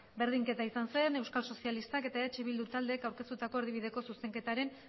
berdinketa izan zen euskal sozialistak eta eh bildu taldeek aurkeztutako erdibideko zuzenketaren